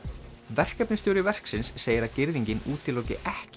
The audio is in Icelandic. verkefnisstjóri verksins segir að girðingin útiloki ekki